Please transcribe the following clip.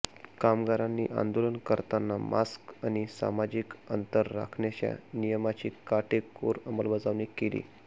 कामगारांनी आंदोलन करताना मास्क आणि सामाजिक अंतर राखण्याच्या नियमाची काटेकोर अंमलबजावणी केली